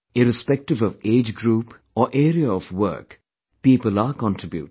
Irrespective of age group or area of work, people are contributing